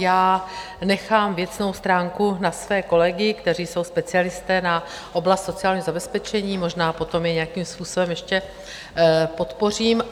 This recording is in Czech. Já nechám věcnou stránku na své kolegy, kteří jsou specialisté na oblast sociálního zabezpečení, možná potom je nějakým způsobem ještě podpořím.